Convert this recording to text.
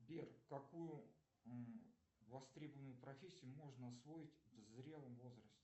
сбер какую востребованную профессию можно освоить в зрелом возрасте